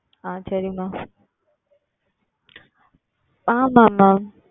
ஆஹ் சரி Mam ஆமாம் ஆமாம்